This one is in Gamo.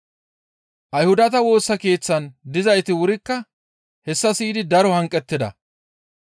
Ayhudata Woosa Keeththan dizayti wurikka hessa siyidi daro hanqettida.